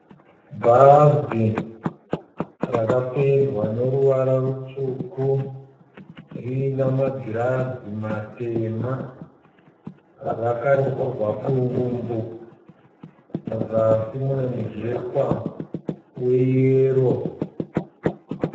Bhazi ramapendwa neruvara rutsvuku. Rina magiriza matema . Rakanyorwa kudumbu. Musazi mune mujekwa we yero